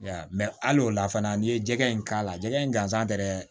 hali o la fana n'i ye jɛgɛ in k'a la jɛgɛ in gansan tɛ dɛ